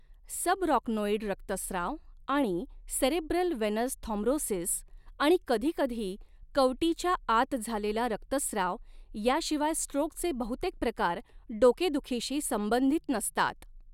Subarachnoid रक्तस्त्राव आणि cerebral venous thrombosis आणि कधीकधी कवटीच्या आत झालेला रक्तस्त्राव याशिवाय स्ट्रोकचे बहुतेक प्रकार डोकेदुखीशी संबंधित नसतात.